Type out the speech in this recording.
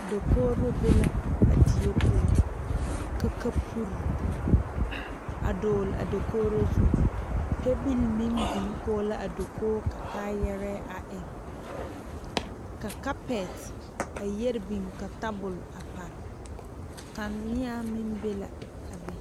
Dakogree be la a die poɔ ka kaporee a doglee a dakogri zu pɛbelee meŋ biŋ kɔɔ la a dakogi ka kayɛrɛɛ meŋ a eŋ ka kapɛ a yɛree biŋ ka tabol a parɛɛ kaneɛ meŋ be la a be.